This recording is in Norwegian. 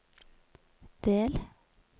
del